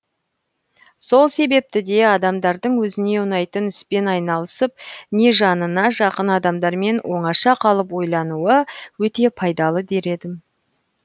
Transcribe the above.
сол себепті де адамдардың өзіне ұнайтын іспен айналысып не жанына жақын адамдармен оңаша қалып ойлануы өте пайдалы дер едім